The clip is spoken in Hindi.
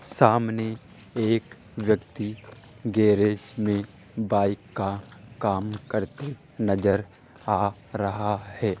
सामने एक व्यक्ति गैरेज मे बाइक का काम करते नज़र आ रहा है।